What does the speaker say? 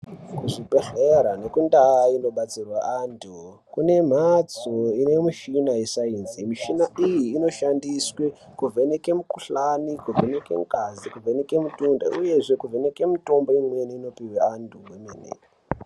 Kuzvibhehlera nekundau kunobatsirwe antu kune mbatso ine mushina yesainzi mishina iyi inoshandiswa kuvheneke mukuhlani kuvheneke ngazi kuvheneke mitundo uye zvekuvheneke mitombo imweni inopirwe antu kwemene.